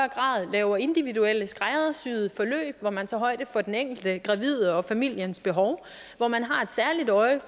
laver individuelle skræddersyede forløb hvor man tager højde for den enkelte gravide og familiens behov hvor man har et særligt øje